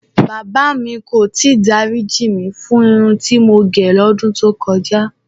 Bàbá mi kò tí ì dáríjì mí fún irun tí mo gẹ̀ lọ́dún tó kọjá.